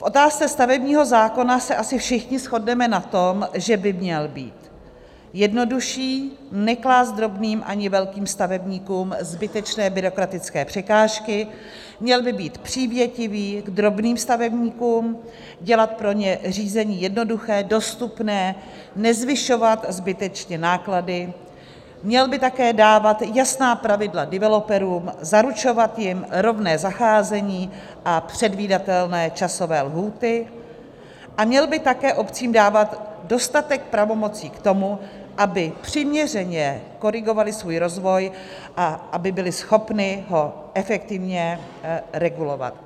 V otázce stavebního zákona se asi všichni shodneme na tom, že by měl být jednodušší, neklást drobným ani velkým stavebníkům zbytečné byrokratické překážky, měl by být přívětivý k drobným stavebníkům, dělat pro ně řízení jednoduché, dostupné, nezvyšovat zbytečně náklady, měl by také dávat jasná pravidla developerům, zaručovat jim rovné zacházení a předvídatelné časové lhůty a měl by také obcím dávat dostatek pravomocí k tomu, aby přiměřeně korigovaly svůj rozvoj a aby byly schopny ho efektivně regulovat.